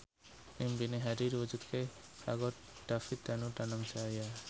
impine Hadi diwujudke karo David Danu Danangjaya